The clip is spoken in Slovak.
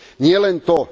Nielen to.